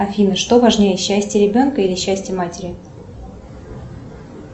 афина что важнее счастье ребенка или счастье матери